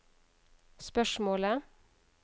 spørsmålet